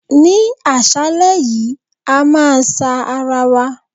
Ní àṣálẹ́ yìí, a máa sa ara wa.